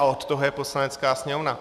A od toho je Poslanecká sněmovna.